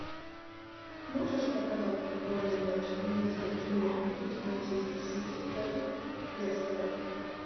можешь показать футбольный матч английской премьер лиги манчестер сити против лестера